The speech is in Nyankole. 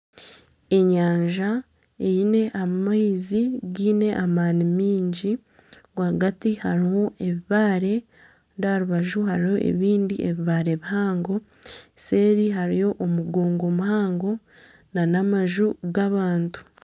Enyanja eine amaizi gaine amaani mingi, rwagati harimu ebibaare kandi aha rubaju hariho ebindi bibaare bihango, seeri hariyo omugongo muhango nana amaju g'abantu